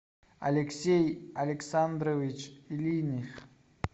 алексей александрович линих